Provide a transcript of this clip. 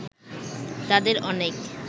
তাদের অনেক